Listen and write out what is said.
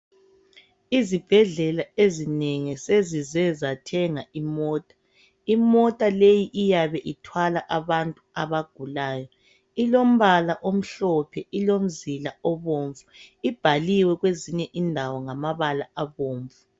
Izibhedlela ezinengi sezize zathenga imota ,imota le iyabe uthwala abantu ilombala omhlophe ilomzila omhlophe ibhaliwe kwezinye indawo ngamabala abomnvu.